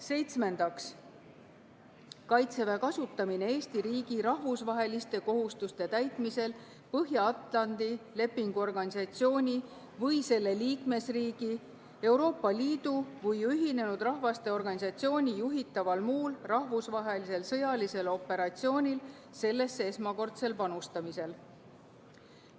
Seitsmendaks, Kaitseväe kasutamine Eesti riigi rahvusvaheliste kohustuste täitmisel Põhja-Atlandi Lepingu Organisatsiooni või selle liikmesriigi, Euroopa Liidu või Ühinenud Rahvaste Organisatsiooni juhitaval muul rahvusvahelisel sõjalisel operatsioonil sellesse esmakordsel panustamisel.